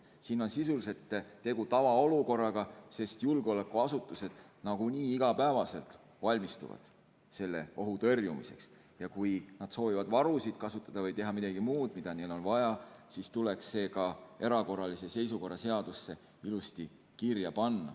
Siin on sisuliselt tegu tavaolukorraga, sest julgeolekuasutused nagunii igapäevaselt valmistuvad selle ohu tõrjumiseks ja kui nad soovivad varusid kasutada või teha midagi muud, mida neil on vaja, siis tuleks see ka erakorralise seisukorra seadusesse ilusti kirja panna.